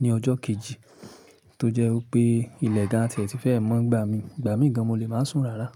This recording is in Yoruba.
ní ọjọ́ kejì tó jẹ́ wipé ilẹ̀ gan àti ẹ̀ ti fẹ́ mọ́ n gbà mí, ìgbà mì gan mo lè máa sùn rárá.